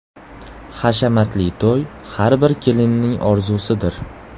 Hashamatli to‘y har bir kelinning orzusidir.